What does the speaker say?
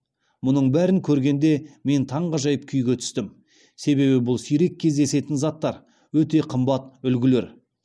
мұның бәрін көргенде мен таңғажайып күйге түстім себебі бұл сирек кездесетін заттар өте қымбат үлгілер